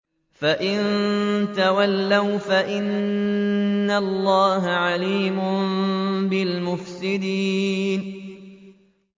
فَإِن تَوَلَّوْا فَإِنَّ اللَّهَ عَلِيمٌ بِالْمُفْسِدِينَ